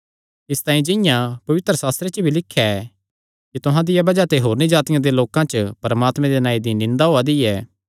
इसतांई जिंआं पवित्रशास्त्रे च भी लिख्या ऐ कि तुहां दिया बज़ाह ते होरनी जातिआं दे लोकां च परमात्मे दे नांऐ दी निंदा होआ दी ऐ